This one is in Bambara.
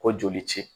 Ko joli ci